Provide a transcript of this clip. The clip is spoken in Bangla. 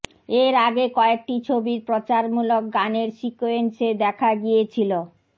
এর আগে কয়েকটি ছবির প্রচারমূলক গানের সিকোয়েন্সে দেখা গিয়েছিল